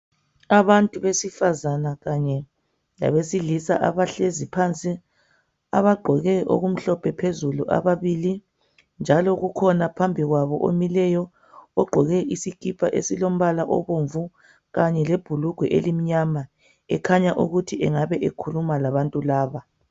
Abantu besifazana kanye labesilisa abahlezi phansi abagqoke okumhlophe phezulu ababili njalo kukhona phambi kwabo omileyo ogqoke isikipa esilombala obomvu kanye lebhulugwe elimnyama ekhanya ukuthi engabe ekhuluma labantu laba.